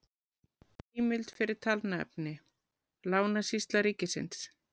Heimild fyrir talnaefni: Lánasýsla ríkisins